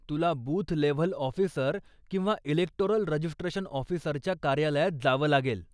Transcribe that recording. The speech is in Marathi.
तुला बूथ लेव्हल ऑफीसर किंवा इलेक्टोरल रजिस्ट्रेशन ऑफिसरच्या कार्यालयात जावं लागेल.